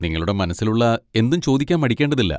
നിങ്ങളുടെ മനസ്സിലുള്ള എന്തും ചോദിക്കാൻ മടിക്കേണ്ടതില്ല.